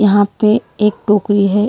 यहाँ पे एक टोकरी है।